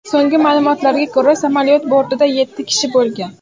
So‘nggi ma’lumotlarga ko‘ra, samolyot bortida yetti kishi bo‘lgan.